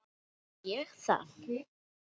Já, sagði ég það?